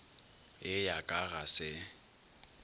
ye ya ka ga se